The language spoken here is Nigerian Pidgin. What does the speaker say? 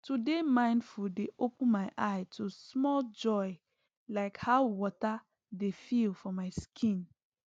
to dey mindful dey open my eye to small joy like how water dey feel for my skin